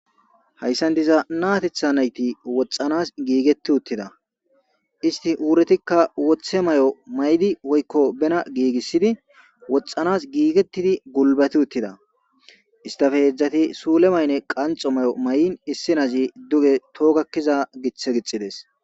Hayisan diza na'tetha nayiti woxanas gigeti utida isiti wuretika wothe Mayo mai'di woyiko bana gigisidi woxanas gigetidi gulibati utida isitape hezati sule mayo qanixo mayo ma'in isitape issoy duge toho gakiza githi githides